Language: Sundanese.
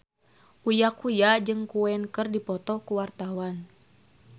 Uya Kuya jeung Queen keur dipoto ku wartawan